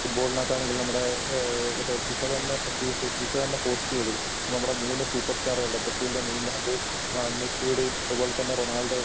ഫുട്‍ബോളിനകത്ത് ആണെങ്കിൽ നമ്മടെ ആ മറ്റേ ഫിഫ തന്നെ ഫിഫ തന്നെ പോസ്റ്റ് ചെയ്തു. നമ്മടെ മൂന്ന് സൂപ്പർസ്റ്റാറുകളുടെ ബ്രസീലിന്റെ നെയ്മറിന്റെയും ആ മെസ്സിയുടെയും അതുപോലെതന്നെ റൊണാൾഡോയുടെ